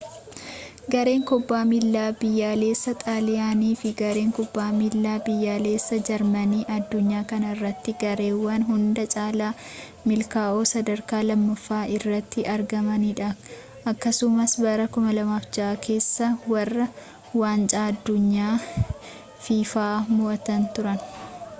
gareen kubbaa miillaa biyyaalessaa xaaliyaanii fi gareen kubbaa miillaa biyyaalessaa jarmanii addunyaa kana irratti gareewwan hunda caalaa milkaa'oo sadarkaa lammaffaa irratti argamanidha akkasumas bara 2006 keessa warra waancaa addunyaa fifa mo'atan turan